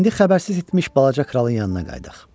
İndi xəbərsiz etmiş balaca kralın yanına qayıdaq.